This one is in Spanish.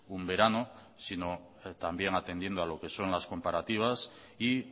un verano sino también atendiendo a lo que son las comparativas y